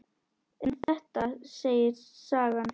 En þetta segir sagan.